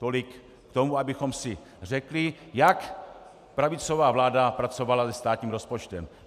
Tolik k tomu, abychom si řekli, jak pravicová vláda pracovala se státním rozpočtem.